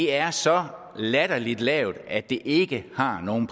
er så latterlig lavt at det ikke har nogen